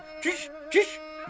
Çüş, çüş.